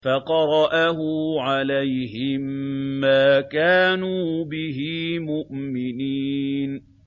فَقَرَأَهُ عَلَيْهِم مَّا كَانُوا بِهِ مُؤْمِنِينَ